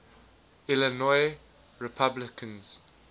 illinois republicans